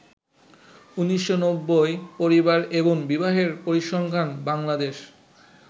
১৯৯০ পরিবার এবং বিবাহের পরিসংখ্যান বাংলাদেশ